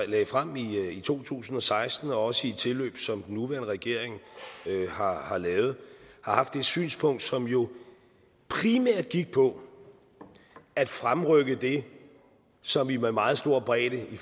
lagde frem i to tusind og seksten og også i tilløb som den nuværende regering har har lavet har haft det synspunkt som jo primært gik på at fremrykke det som vi med meget stor bredde i